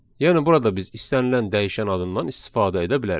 Yəni burada biz istənilən dəyişən adından istifadə edə bilərik.